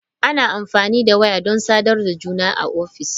Ana amfani da waya don sadarwa da juna a ofis.